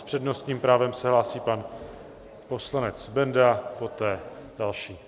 S přednostním právem se hlásí pan poslanec Benda, poté další.